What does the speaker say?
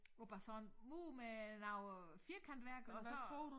Og bare sådan mur med noget øh firkantværk og så